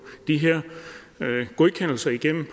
de her godkendelser igennem